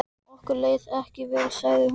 Okkur leið ekki vel sagði hún.